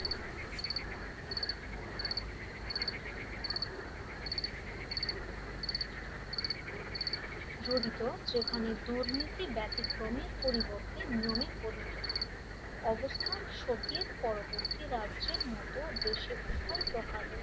জড়িত যেখানে দুর্নীতি ব্যতিক্রমীর পরিবর্তে নিয়মে পরিণত হয় অবস্থান সোভিয়েত পরবর্তী রাজ্যের মত দেশে উভয় প্রকার রয়েছে